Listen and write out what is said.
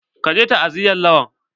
Ka je ta'aziyan Lawan?